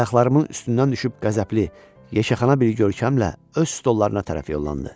Ayaqlarımın üstündən düşüb qəzəbli, yexəxana bir görkəmlə öz stollarına tərəf yollandı.